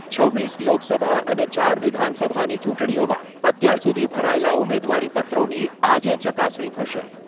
છવ્વીસ લોકસભા અને ચાર વિધાનસભાની ચૂંટણીઓમાં અત્યાર સુધી ભરાયેલા ઉમેદવારીપત્રોની આજે ચકાસણી થશે.